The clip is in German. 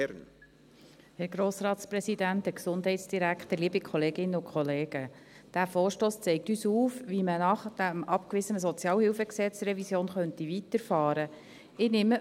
Dieser Vorstoss zeigt uns auf, wie man nach der abgewiesenen SHG-Revision weiterfahren könnte.